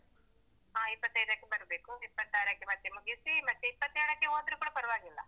ಹಾ ಆಯ್ತಾ ಹಾ ಇಪ್ಪತ್ತೈದಕ್ಕೂ ಬರ್ಬೇಕು ಇಪ್ಪತ್ತಾರಕ್ಕೆ ಮತ್ತೆ ಮುಗಿಸಿ ಮತ್ತೆ ಇಪ್ಪತ್ತೆಳಕ್ಕೆ ಹೋದ್ರು ಕೂಡ ಪರ್ವಾಗಿಲ್ಲ.